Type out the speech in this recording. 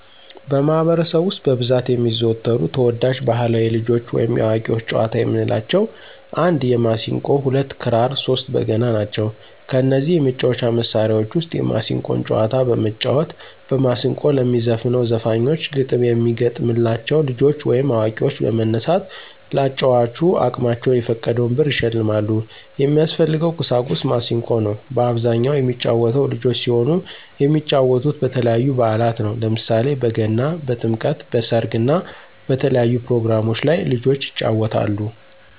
በማህበረሰቡ ውስጥ በብዛት የሚዘወተሩ ተወዳጅ ባህላዊ የልጆች ወይም የአዋቂዎች ጨዋታዎች የምንላቸው 1 የማሲንቆ 2 ክራር 3 በገና ናቸው። ከነዚህ የመጫወቻ መሣሪያዎች ውስጥ የማሲንቆን ጨዋታዎች በመጫወት በማስንቆ ለሚዘፍነው ዘፋኞች ግጥም የሚገጠምላ ልጆች ወይም አዋቂዎች በመነሳት ለአጫዋቹ አቅማቸውን የፈቀደውን ብር ይሸልማሉ። የሚያስፈልገው ቁሳቁስ ማሲንቆ ነው። በአብዛኛው የሚጫወተው ልጆች ሲሆኑ የሚጫወቱት በተለያዩ በአላት ነው። ለምሳሌ በገና፣ በጥምቀት፣ በሰርግ እና በተለያዩ ፕሮግራሞች ላይ ልጆች ይጫወታሉ።